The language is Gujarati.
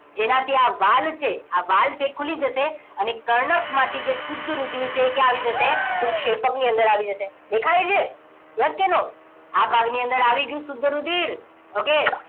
જેનાથી આ વાલ છે આ વાલ છે ખુલી જશે અને કર્ણક માંથી જે શુદ્ધ રુધિર છે એ ક્યાં આવી જશે તો ક્ષેપકની અંદર આવી જશે દેખાય છે yes કે no આ ભાગ ની અંદર આવી ગયું શુદ્ધ રુધિર okay